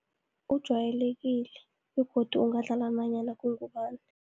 Ujwayelekile, begodu ungadlala nanyana kungubani.